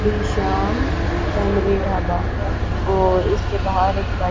Shri Shyam family dhaba और इसके बाहर एक बै--